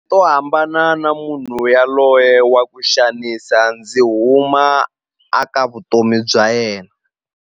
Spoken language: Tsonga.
To hambana na munhu yaloye wa ku xanisa ndzi huma a ka vutomi bya yena.